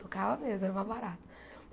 Tocava mesmo, era uma barata.